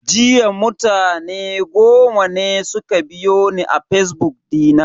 Jiya mutane goma ne suka biyo ni a fazbuk dina.